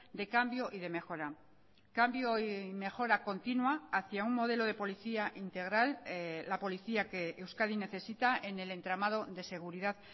de cambio y de mejora cambio y mejora continua hacia un modelo de policía integral la policía que euskadi necesita en el entramado de seguridad